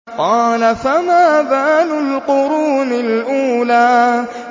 قَالَ فَمَا بَالُ الْقُرُونِ الْأُولَىٰ